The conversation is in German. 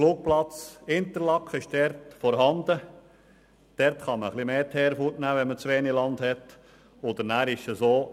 Wenn man zu wenig Land hat, kann man beim Flugplatz Interlaken ein bisschen mehr Teer wegnehmen.